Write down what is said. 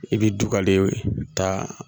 I bɛ dugaleye ta